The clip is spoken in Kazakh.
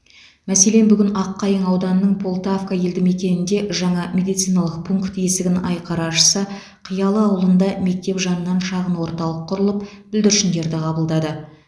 мәселен бүгін аққайың ауданының полтавка елді мекенінде жаңа медициналық пункт есігін айқара ашса қиялы ауылында мектеп жанынан шағын орталық құрылып бүлдіршіндерді қабылдады